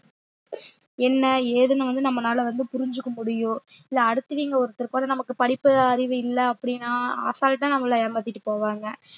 என்ன ஏதுன்னு வந்து நம்மளால வந்து புரிஞ்சுக்க முடியும் இல்ல அடுத்தவீங்க ஒருத்தருக்கு கூட நமக்கு படிப்பு அறிவு இல்லை அப்பிடின்னா assault ஆ நம்மள ஏமாத்திட்டு போவாங்க